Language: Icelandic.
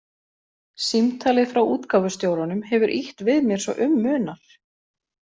Símtalið frá útgáfustjóranum hefur ýtt við mér svo um munar.